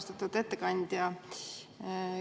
Austatud ettekandja!